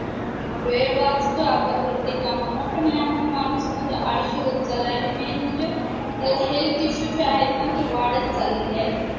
वेळ वाचतो आपला प्रत्येक कामामुळं पण यामुळ माणूस म्हणजे आळशी होत चाललेला आहे आणि main म्हणजे त्याला health issues जे आहे ना ते वाढत चाललेले आहेत.